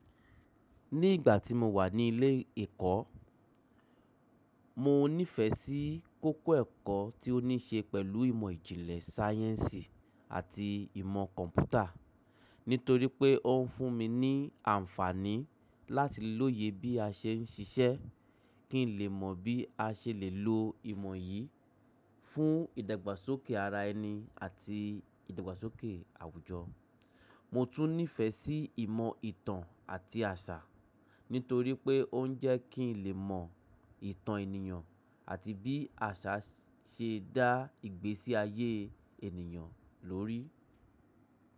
Ní ìgbà tí mo wà ní ilé ẹ̀kọ́, mo nífẹ̀ẹ́ sí kókó ẹ̀kọ́ tí ó ní ṣe pẹ̀lú ìmọ̀ ìjìnlẹ̀ sáyẹ́ǹsì àti ìmọ̀ kọ̀m̀pútà. Nítorí pé ó ń fún mi ní àǹfààní láti lóye bí a ṣe ń ṣiṣẹ́, kí n lè mọ bí a ṣe lè lo ìmọ̀ yìí fún ìdàgbàsókè ara ẹni àti ìdàgbàsókè àwùjọ. Mo tún nífẹ̀ẹ́ sí ìmọ̀ ìtàn àti àṣà, nítorí pé ó ń jẹ́ kí n lè mọ ìtàn ènìyàn àti bí àṣà ṣe ń dá ìgbésí ayé ènìyàn lóri.